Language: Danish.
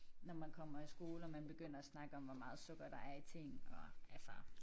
Når man kommer i skole og man begynder at snakke om hvor meget sukker der er i ting og altså